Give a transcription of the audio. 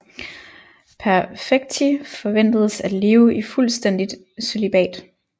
Perfecti forventedes at leve i fuldstændigt cølibat